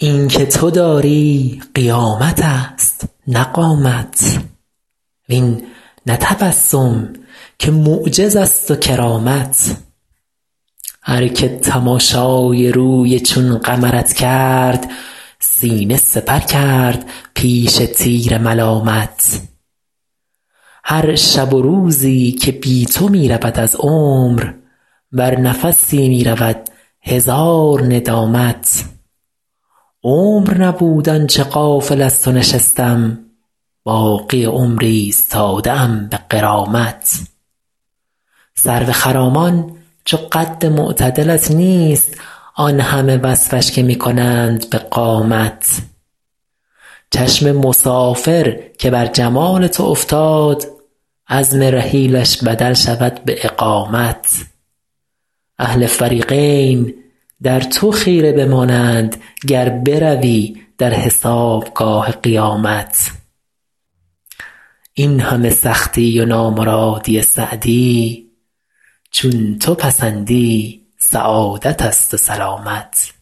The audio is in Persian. این که تو داری قیامت است نه قامت وین نه تبسم که معجز است و کرامت هر که تماشای روی چون قمرت کرد سینه سپر کرد پیش تیر ملامت هر شب و روزی که بی تو می رود از عمر بر نفسی می رود هزار ندامت عمر نبود آن چه غافل از تو نشستم باقی عمر ایستاده ام به غرامت سرو خرامان چو قد معتدلت نیست آن همه وصفش که می کنند به قامت چشم مسافر که بر جمال تو افتاد عزم رحیلش بدل شود به اقامت اهل فریقین در تو خیره بمانند گر بروی در حسابگاه قیامت این همه سختی و نامرادی سعدی چون تو پسندی سعادت است و سلامت